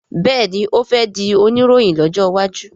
béèni o fè dì Oníròhìn lójó waju.